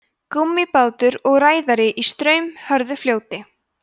gúmmíbátur og ræðari í straumhörðu fljóti